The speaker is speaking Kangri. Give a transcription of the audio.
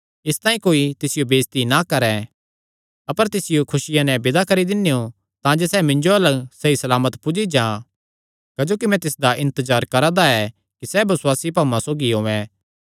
इसतांई कोई तिसियो बेइज्जत ना करैं अपर तिसियो खुसिया नैं विदा करी दिनेयों तांजे सैह़ मिन्जो अल्ल सहीसलामत पुज्जी जां क्जोकि मैं तिसदा इन्तजार करा दा ऐ कि सैह़ बसुआसी भाऊआं सौगी औयें